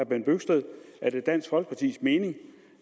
bent bøgsted er det dansk folkepartis mening